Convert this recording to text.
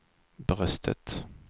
bröstet